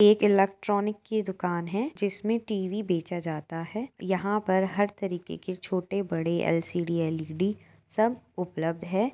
एक एलेक्ट्रोनिक की दुकान है जिसमे टीवी बेचा जाता है। यहा पर हर तरीके के छोटे बड़े एलसीडी एलईडी सब उपलब्ध है।